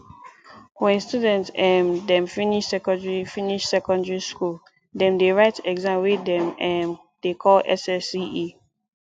wen student um dem finish secondary finish secondary skool dem dey write exam wey dem um dey call ssce